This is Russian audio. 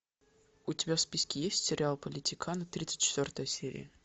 у тебя в списке есть сериал политиканы тридцать четвертая серия